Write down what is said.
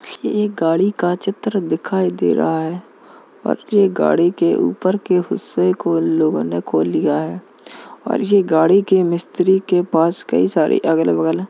ये एक गाड़ी का चित्र दिखाई दे रहा है और ये गाड़ी के ऊपर के हिस्से को लोगों ने खोल लिया है और ये गाड़ी के मिस्त्री के पास कई सारे अगल बगल --